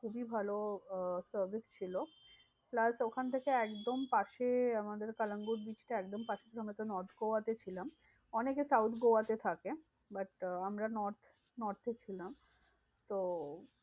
খুবই ভালো আহ service ছিল। plus ওখান থেকে একদম পাশে আমাদের কালাঙ্গুর beach টা একদম পাশে আমরা তো north গোয়াতে ছিলাম। অনেকে south গোয়াতে থাকে। but আমরা north north এ ছিলাম। তো